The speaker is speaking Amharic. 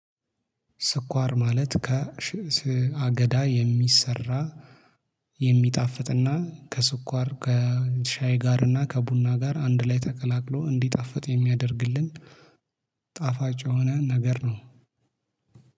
ስኳር ማለት ከሽእስ አገዳ የሚሰራ የሚጣፍጥና ከስኳር ከሻይ ጋር እና ከቡና ጋር አንድ ላይ ተቀላቅሎ እንዲጣፍጥ የሚያደርግልን። ጣፋጭ የሆነ ነገር ነው።